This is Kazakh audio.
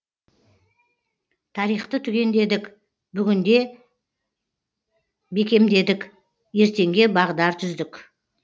тарихты түгендедік бүгінде бекемдедік ертеңге бағдар түздік